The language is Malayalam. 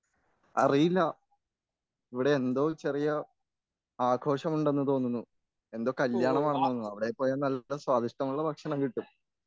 അറിയില്ല ഇവിടെയെന്തോ ഒരു ചെറിയ ആഘോഷമുണ്ടെന്ന് തോന്നുന്നു എന്തോ കല്യാണമാണ് തോന്നുന്നു അവിടെ പോയാൽ നല്ല സ്വാദിഷ്ടമുള്ള ഭക്ഷണം കിട്ടും